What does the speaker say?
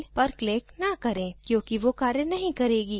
ये वास्तविक files के लिए links हैं